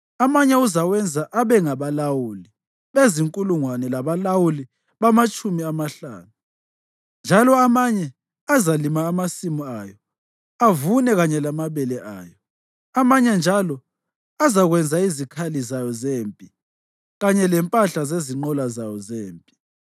Amanye uzawenza abe ngabalawuli bezinkulungwane labalawuli bamatshumi amahlanu; njalo amanye azalima amasimu ayo avune kanye lamabele ayo, amanye njalo azakwenza izikhali zayo zempi kanye lempahla zezinqola zayo zempi.